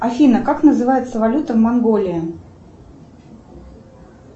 афина как называется валюта в монголии